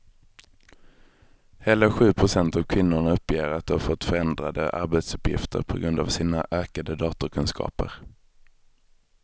Hela sju procent av kvinnorna uppger att de fått förändrade arbetsuppgifter på grund av sina ökade datorkunskaper.